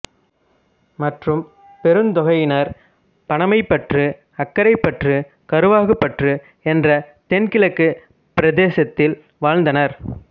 மற்றும் பெருந்தொகையினர் பாணமைப்பற்று அக்கரைப்பற்று கரவாகுப்பற்று என்ற தென்கிழக்குப் பிரதேசத்தில் வாழ்ந்தனர்